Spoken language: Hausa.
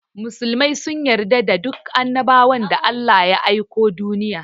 Musulmai sun yarda da dukan annabawan da Allah ya aiko duniya.